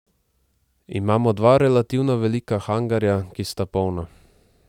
Imamo dva relativno velika hangarja, ki sta polna.